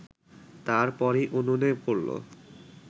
তার পরই উনুনে পড়ল